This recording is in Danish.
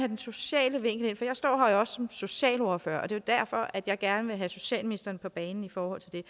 den sociale vinkel ind for jeg står her jo også som socialordfører og det er derfor jeg gerne vil have socialministeren på banen i forhold til det